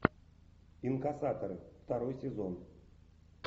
инкассаторы второй сезон